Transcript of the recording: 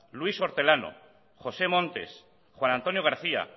luis hortelano josé montes juan antonio garcía